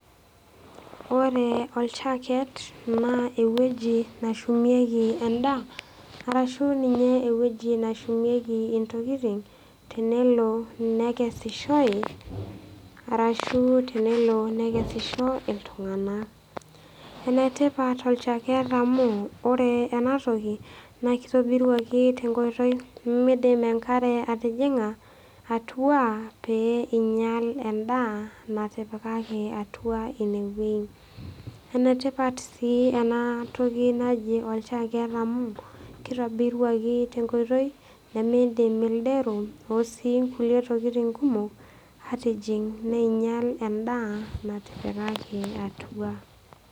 Ore olchaaket, naa ewueji nashumieki endaa arashu ninye ewueji nashumieki intokitin tenelo nekesishoi, arashu tenelo nekesisho iltung'ana. Ene tipat olchaaket amu, ore ena toki naa keitobiruaki te enkoitoi nemeidim enkare atijing'a atua pee einyal endaa naitipikaki atua ine wueji. Ene tipat sii ena toki naji olchaaket amu, keitobiruaki te enkoitoi nemeidim ildero ashu sii kulie tokitin kumok atijing' neinyal endaa naitipikaki atua.